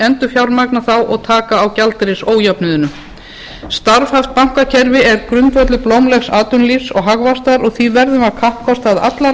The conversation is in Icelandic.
endurfjármagna þá og taka á gjaldeyrisójöfnuðinum starfhæft bankakerfi er grundvöllur blómlegs atvinnulífs og hagvaxtar og því verðum við að kappkosta að allar